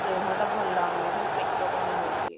ଦେହଟା ଭଲ ଲାଗୁନି ଖାଲି ପେଟ କଣ ହଉଛି